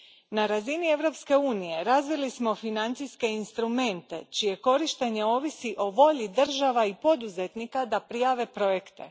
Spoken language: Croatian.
Na razini Europske unije razvili smo financijske instrumente čije korištenje ovisi o volji država i poduzetnika da prijave projekte.